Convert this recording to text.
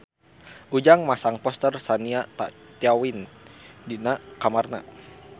Ujang masang poster Shania Twain di kamarna